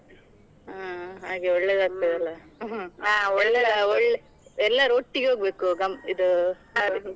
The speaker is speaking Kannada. ಹಾ ಹಾಗೆ ಒಳ್ಳೇದಾಗ್ತದೆ . ಎಲ್ಲರು ಒಟ್ಟಿಗೆ ಹೋಗ್ಬೇಕು ಗಂ~ ಇದು .